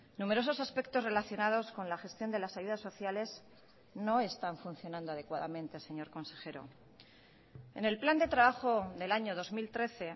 numerosos aspectos relacionados con la gestión de las ayudas sociales no están funcionando adecuadamente señor consejero en el plan de trabajo del año dos mil trece